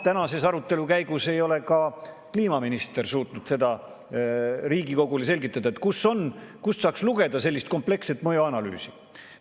Tänase arutelu käigus ei ole ka kliimaminister suutnud seda Riigikogule öelda, kust saaks lugeda sellist kompleksset mõjuanalüüsi.